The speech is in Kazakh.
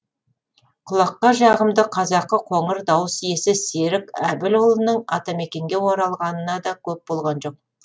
құлаққа жағымды қазақы қоңыр дауыс иесі серік әбілұлының атамекенге оралғанына да көп болған жоқ